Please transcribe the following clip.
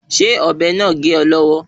Ṣé ọ̀bẹ náà gé ọ lọ́wọ́